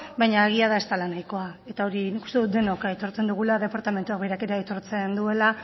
baina egia da ez dela nahikoa hori denok aitortzen dugula departamentuak berak ere aitortzen duela